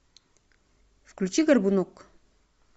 включи горбунок